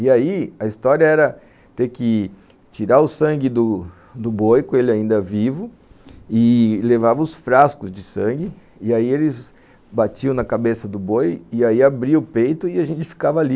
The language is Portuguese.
E aí, a história era ter que tirar o sangue do do boi, com ele ainda vivo, e levava os frascos de sangue, e aí eles batiam na cabeça do boi, e aí abria o peito e a gente ficava ali.